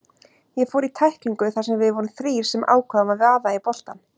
Ég fór í tæklingu þar sem við vorum þrír sem ákváðum að vaða í boltann.